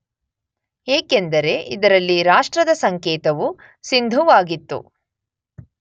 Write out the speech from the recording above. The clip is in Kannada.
ಏಕೆಂದರೆ ಇದರಲ್ಲಿ ರಾಷ್ಟ್ರದ ಸಂಕೇತವು ಸಿಂಧುವಾಗಿತ್ತು.